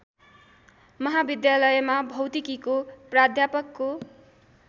महाविद्यालयमा भौतिकीको प्राध्यापकको